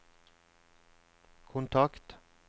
kontakt